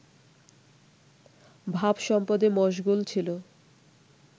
ভাবসম্পদে মশগুল ছিল